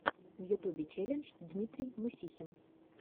в ютьюбе челлендж дмитрий мусихин